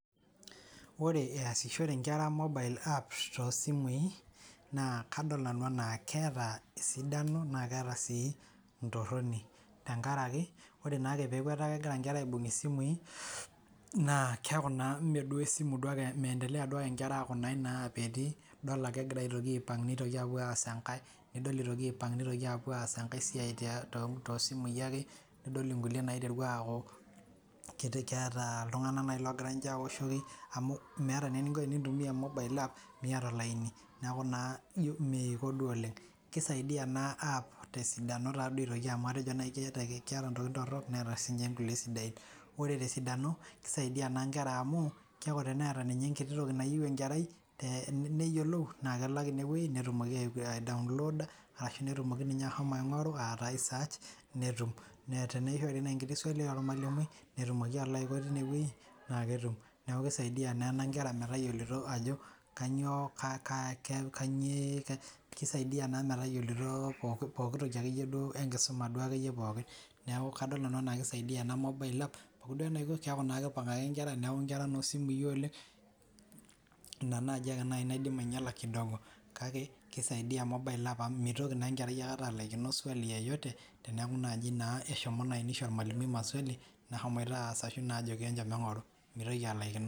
Oree eyasishore inkera mobile apps toosimi naa kadol nanu enaa keeta esidano naa keeta sii entoroni tenkaraki ore naake peeku etaa kegira inkera ibung' isimui naa keaku naa Mee duo esimu duake meentelea aaku nayii inapenu idol ake aa kegira aipang' idol ake epuo aas enkae nidol eitoki aipang' epuo aas enkae siai toosimui ake nidol inkulie naiteru keeta iltunganak naaji oogira ninche aawoshoki amu meeta naa eninko tenintumia mobile app miyata olaini neeku naa meiko duo oleng keisaidia ena app tee sidanoo naa aitoki amu atejo naji keeta intokiting' torook neeta sii inkulie sidain ore tes sidano keisaidia naa inkera amuu keeku teneata ninye enkiti toki nayiu enkerai neyiolou naa mebaiki ene weii netumoki aidaunlodaa ashuu netumoki ninye ashomo aing'oru netum teneishori naaji eswali ormalimui netumoki alo aiko teine wei naa ketum neeku keisaidia naa ena inkera metayioloito ajo kanyioo pooki toki ake iye duo enkisuma duo ake iye pookin neeku kadol nanu enaa keisaidia ena mobile app pooki duo ake enaiko keeku naa keingorr ake inkera neeku I kera inoo simui oleng' ina naji ake naidim ainyala kidogo kake keisaidia mobile app amu meitoki naa enkerai akata alikinoswali yoyote teneakuu naa ashomo naa neisho ormalimui maswali naashomoita aas arashu naa ajoki enchom eng'oru meitoki alaikino.